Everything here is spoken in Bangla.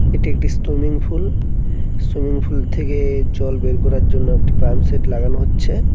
এটি একটি স্তুমিংপুল সুইমিংপুল থেকে জল বের করার জন্য একটি প্ল্যাম সেট লাগানো হচ্ছে।